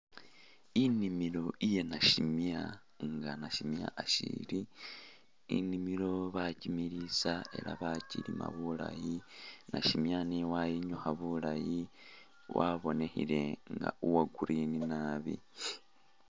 Inimilo iya nasimya nga nasimya ashili, inimilo bakimilisa ela bakilima bulayi nasimya nayo wayinyukha bulayi wabonekhele nga uwa green naabi